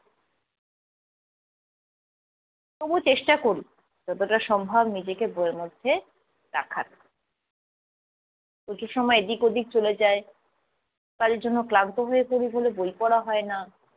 তবু চেষ্টা করি যতটা সম্ভব নিজেকে বইয়ের মধ্যে রাখার। কিছু সময় এদিক ওদিক চলে যায়, কাজের জন্য ক্লান্ত হয়ে পড়ি বলে বই পড়া হয় না।